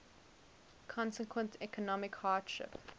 consequent economic hardship